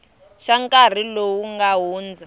ka nkarhi lowu nga hundza